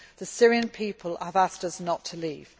The Syrian people have asked us not to leave.